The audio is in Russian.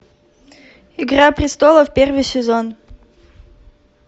игра престолов первый сезон